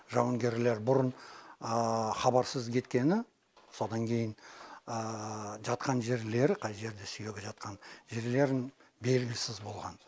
жауынгерлер бұрын хабарсыз кеткені содан кейін жатқан жерлері қай жерде сүйегі жатқан жерлерін белгісіз болған